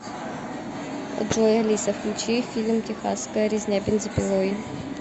джой алиса включи фильм техасская резня бензопилой